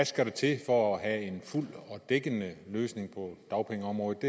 skal til for at have en fuld og dækkende løsning på dagpengeområdet